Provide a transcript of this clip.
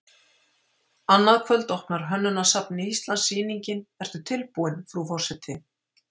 Annað kvöld opnar í Hönnunarsafni Íslands sýningin Ertu tilbúin, frú forseti?